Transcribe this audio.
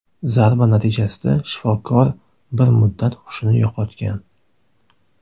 Zarba natijasida shifokor bir muddat hushini yo‘qotgan.